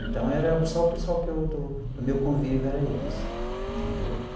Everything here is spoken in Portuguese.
Então, era só o pessoal que eu, do do meu convívio, era eles, entendeu?